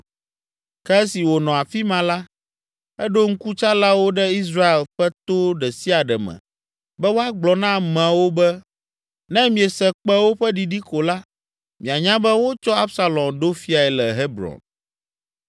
Ke esi wònɔ afi ma la, eɖo ŋkutsalawo ɖe Israel ƒe to ɖe sia ɖe me be woagblɔ na amewo be; “Ne miese kpẽwo ƒe ɖiɖi ko la, mianya be wotsɔ Absalom ɖo fiae le Hebron.”